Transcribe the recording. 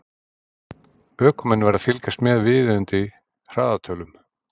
Ökumenn verða að fylgjast með viðeigandi hraðatölum.